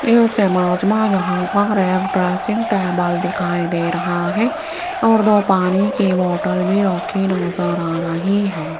इस इमेज मे यहां पर एक ड्रेसिंग टेबल दिखाई दे रहा है और दो पानी की बॉटल रखी नजर आ रही है।